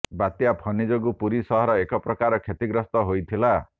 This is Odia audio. ବାତ୍ୟା ଫନି ଯୋଗୁଁ ପୁରୀ ସହର ଏକପ୍ରକାର କ୍ଷତିଗ୍ରସ୍ତ ହୋଇଥିଲା